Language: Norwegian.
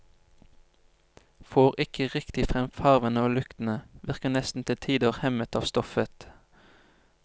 Får ikke riktig frem farvene og luktene, virker nesten til tider hemmet av stoffet.